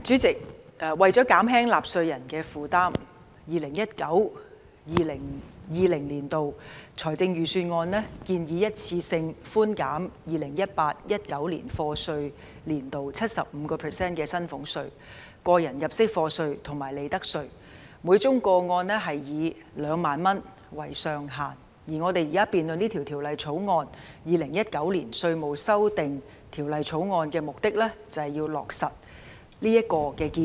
主席，為減輕納稅人的負擔 ，2019-2020 年度的財政預算案建議一次性寬減 2018-2019 課稅年度 75% 的薪俸稅、個人入息課稅及利得稅，每宗個案以2萬元為上限，而我們現時辯論的《2019年稅務條例草案》的目的，便是為了落實這建議。